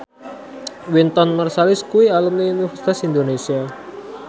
Wynton Marsalis kuwi alumni Universitas Indonesia